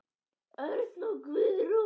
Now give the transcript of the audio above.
Örn og Guðrún.